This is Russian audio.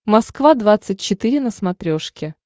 москва двадцать четыре на смотрешке